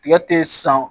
Tigɛ te san